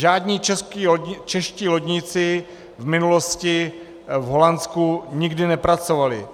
Žádní čeští lodníci v minulosti v Holandsku nikdy nepracovali.